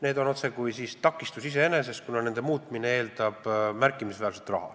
Need on otsekui takistus iseeneses, kuna nende muutmine eeldab märkimisväärset raha.